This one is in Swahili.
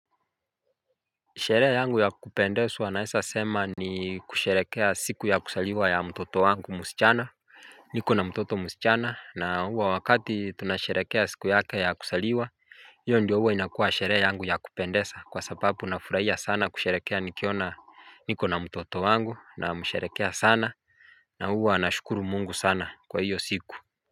Sherehe yangu ya kupendeswa naesa sema ni kusherekea siku ya kusaliwa ya mtoto wangu musichana niko na mtoto musichana na huwa wakati tunasherekea siku yake ya kusaliwa hiyo ndio huwa inakuwa sherehe yangu ya kupendesa, kwa sababu nafuraia sana kusherekea nikiona niko na mtoto wangu, namsherekea sana na huwa anashukuru mungu sana kwa hiyo siku.